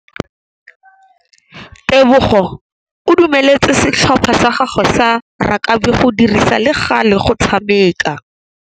Tebogô o dumeletse setlhopha sa gagwe sa rakabi go dirisa le galê go tshameka.